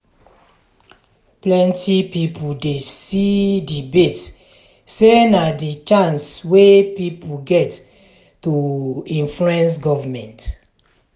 plenty pipo dey see debate sey na di chance wey pipo get to influence government.